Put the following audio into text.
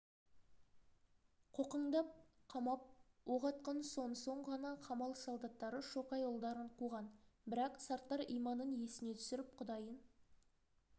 қоқаңдап қамап оқ атқан сонсоң ғана қамал солдаттары шоқайұлдарын қуған бірақ сарттар иманын есіне түсіріп құдайын